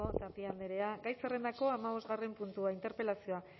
tapia andrea gai zerrendako hamabosgarren puntua interpelazioa